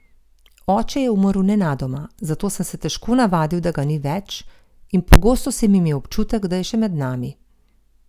Oče je umrl nenadoma, zato sem se težko navadil, da ga ni več, in pogosto sem imel občutek, da je še med nami.